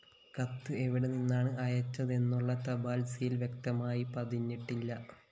കത്ത്‌ എവിടെ നിന്നാണ്‌ അയച്ചതെന്നുള്ള തപാല്‍ സീൽ വ്യക്തമായി പതിഞ്ഞിട്ടില്ല